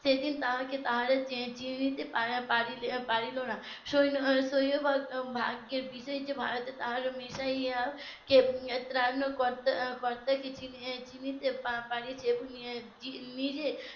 সেদিন তাকে তারা চিনতে পারলো না . ভাগ্যের বিজয়ী কে ভারতে তার মেশাইয়ার কে ত্রাণকর্তা ত্রাণকর্তা কে তিনি যে . নিজে